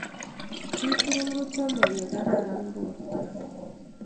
jii tugul ko chame ya kararan borto